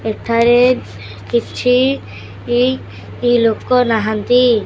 ଏଠାରେ କିଛି ଲୋକ ନାହାନ୍ତି।